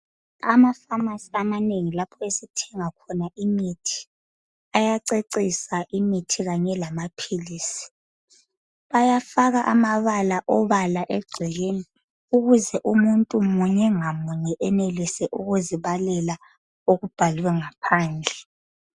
Ama-pharmacy amanengi lapho esithenga khona imithi ayacecisa imithi kanye lamaphilisi. Bayafaka amabala obala egcekeni ukuze umuntu munye ngamuye enelise ukuzibalela okubhalwe ngaphandle